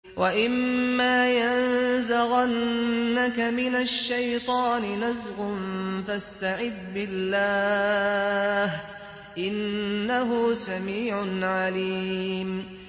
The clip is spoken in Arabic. وَإِمَّا يَنزَغَنَّكَ مِنَ الشَّيْطَانِ نَزْغٌ فَاسْتَعِذْ بِاللَّهِ ۚ إِنَّهُ سَمِيعٌ عَلِيمٌ